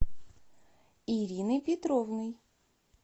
ириной петровной